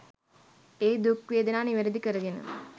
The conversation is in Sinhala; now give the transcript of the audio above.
ඒ දුක් වේදනා නිවැරදි කරගෙන